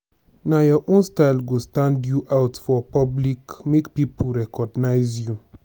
nah your own style go stand you out for public make pipo recognize you